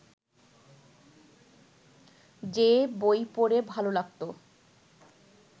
যে বই পড়ে ভালো লাগত